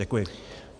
Děkuji.